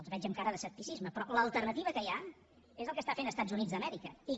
els veig amb cara d’escepticisme però l’alternativa que hi ha és el que estan fent els estats units d’amèrica i que